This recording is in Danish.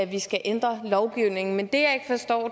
vi skal ændre lovgivningen men